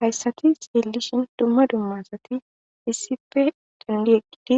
hayssati seellishin dumma dummasati issife dandi eqqidi